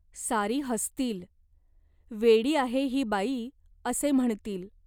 सारी हसतील. वेडी आहे ही बाई असे म्हणतील.